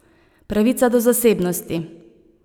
Pravica do zasebnosti.